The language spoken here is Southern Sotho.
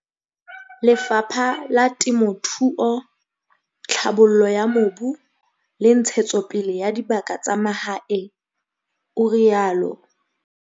"Le fapha la Temothuo, Tlhabollo ya Mobu le Ntshetsopele ya Dibaka tsa Mahae," o rialo.